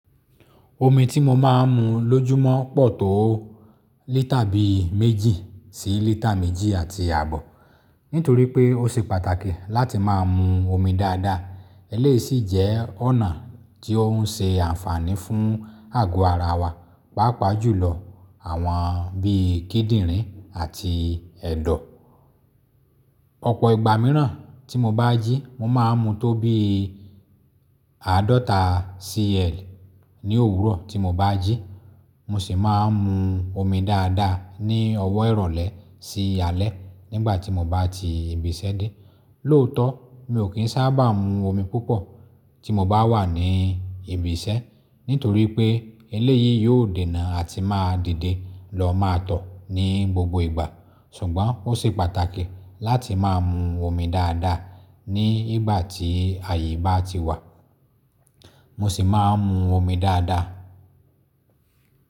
Omi tí mo máa ń mu lójúmọ́ pọ̀ tó lítà bí méjì sí lítà méjì àti àbọ̀. Nítorí pé ó ṣe pàtàkì láti máa ń mu omi dáadáa, eléyìí sì jẹ́ ọ̀nà tí ó ń ṣe àǹfààní fún àgọ́ ara wa, pàápàá jùlọ àwọn bí i kídìrín àti ẹ̀dọ̀. Ọ̀pọ̀ ìgbà mìíràn tí mo bá jí, mo máa ń mu tó bí àádọ́ta cl ní òwúrọ̀ tí mo bá jí. Mo sì máa ń mu omi dáadáa ní ọwọ́ ìrọ̀lẹ́ sí alẹ́ nígbà tí mo bá ti ibi iṣẹ́ dé. Lóòótọ́, mi ò kí ń sábà mu omi púpọ̀ tí mo bá wà ní ibi iṣẹ́, nítorí pé eléyìí yóò dènà àti máa dìde lọ má tọ̀ ní gbogbo ìgbà. Ṣùgbọ́n ó ṣe pàtàkì láti máa ń mu omi dáadáa ní ìgbà tí àyè bá ti wà. Mo sì máa ń mu omi dáadáa.